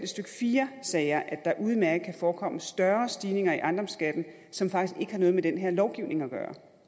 fire sager at der udmærket kan forekomme større stigninger i ejendomsskatten som faktisk ikke har noget med den her lovgivning at gøre